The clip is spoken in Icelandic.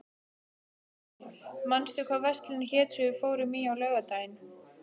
Eldmey, manstu hvað verslunin hét sem við fórum í á laugardaginn?